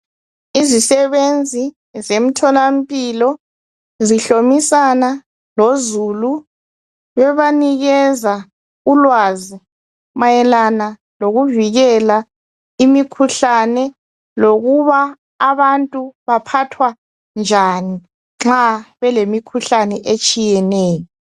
Izisebenzi zemtholampilo zihlomisana lozulu bebanikeza ulwazi mayelana lokuvikele imikhuhlane lokuba abantu phathwa njani nxa belemikhuhlane etshiyeneyo.